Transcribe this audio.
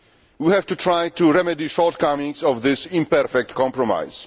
We have to try to remedy the shortcomings of this imperfect compromise.